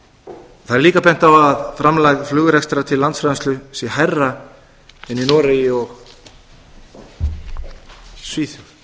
það er líka bent á að framlag flugrekstrar til landsframleiðslu sé hærra en í noregi og svíþjóð það